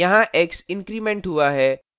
यहाँ x increment वृद्धि हुआ है